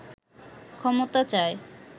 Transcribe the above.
ক্ষমতা চায়